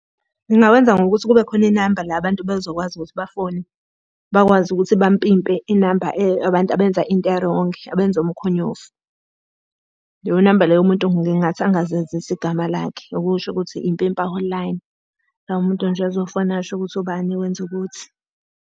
Ngingawenza ngokuthi kube khona inamba la abantu bezokwazi ukuthi bafone. Bakwazi ukuthi bampimpe inamba abantu abenza into erongi, abenza umkhonyovu. Leyo namba loyo umuntu ngingathi angazenzisi igama lakhe. Okusho ukuthi impimpa hotline. La umuntu nje azofona asho ukuthi ubani wenza ukuthi.